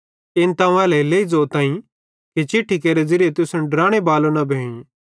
इन अवं एल्हेरेलेइ ज़ोताईं कि चिट्ठी केरे ज़िरिये तुसन डराने बालो न भोईं